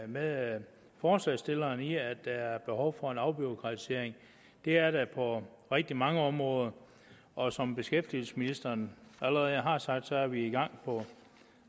med forslagsstillerne i at der er behov for en afbureaukratisering det er der på rigtig mange områder og som beskæftigelsesministeren allerede har sagt er vi i gang på